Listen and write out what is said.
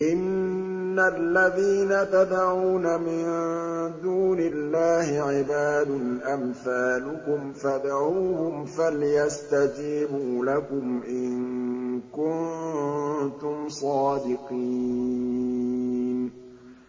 إِنَّ الَّذِينَ تَدْعُونَ مِن دُونِ اللَّهِ عِبَادٌ أَمْثَالُكُمْ ۖ فَادْعُوهُمْ فَلْيَسْتَجِيبُوا لَكُمْ إِن كُنتُمْ صَادِقِينَ